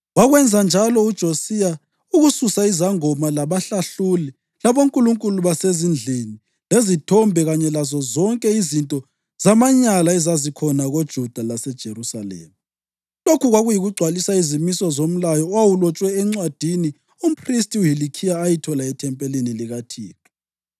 Wakwenza njalo uJosiya ukususa izangoma, labahlahluli, labonkulunkulu basezindlini, lezithombe kanye lazozonke izinto zamanyala ezazikhona koJuda laseJerusalema. Lokhu kwakuyikugcwalisa izimiso zomlayo owawulotshwe encwadini umphristi uHilikhiya ayithola ethempelini likaThixo.